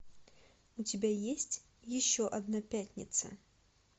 у тебя есть еще одна пятница